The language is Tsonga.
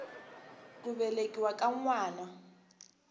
ku velekiwa ka n wana